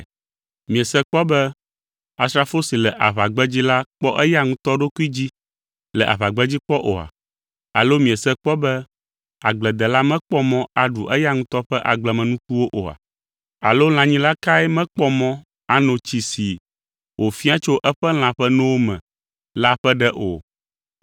Miese kpɔ be asrafo si le aʋagbedzi la kpɔ eya ŋutɔ ɖokui dzi le aʋagbedzi kpɔ oa? Alo miese kpɔ be agbledela mekpɔ mɔ aɖu eya ŋutɔ ƒe agblemenukuwo oa? Alo lãnyila kae mekpɔ mɔ ano notsi si wòfia tso eƒe lã ƒe nowo me la ƒe ɖe o?